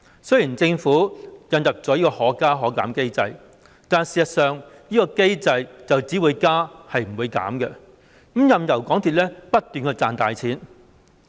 雖然政府引入"可加可減"機制，但事實上這個機制只會加而不會減，任由港鐵公司不斷賺大錢。